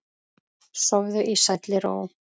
Sofðu í sælli ró.